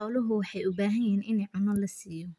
xoluhu waxey uu baxan yihin iini cuno lasiyo.